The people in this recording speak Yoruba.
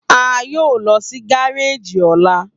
A yoo lọ si gareji ọla.